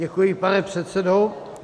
Děkuji, pane předsedo.